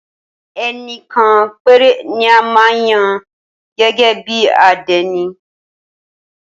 Ẹnìkan péré ni a máa ń yàn gẹ́gẹ́ bí àdénì.